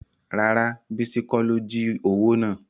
Rárá bísí kọ́ ló jí owó náà